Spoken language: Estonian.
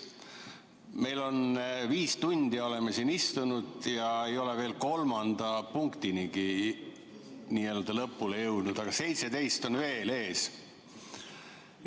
Me oleme viis tundi siin istunud ja ei ole veel kolmanda punktigagi lõpule jõudnud, aga 17 on veel ees.